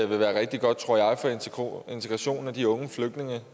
vil være rigtig godt tror jeg for integrationen af de unge